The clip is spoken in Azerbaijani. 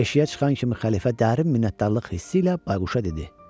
Eşiyə çıxan kimi xəlifə dərin minnətdarlıq hissi ilə bayquşa dedi: